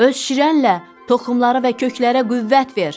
Öz şirənlə toxumları və köklərə qüvvət ver!